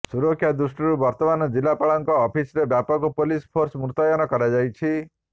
ସୁରକ୍ଷା ଦୃଷ୍ଟିରୁ ବର୍ତ୍ତମାନ ଜିଲ୍ଲାପାଳଙ୍କ ଅଫିସ୍ରେ ବ୍ୟାପକ ପୁଲିସ ଫୋର୍ସ ମୁତୟନ କରାଯାଇଛି